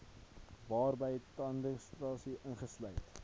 waarby tandekstraksie ingesluit